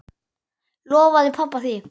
Lofaði pabba því.